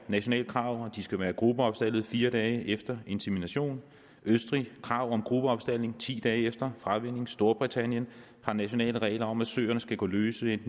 nationalt krav om at de skal være gruppeopstaldet i fire dage efter insemination i østrig har krav om gruppeopstaldning ti dage efter fravænning storbritannien har nationale regler om at søerne skal gå løse i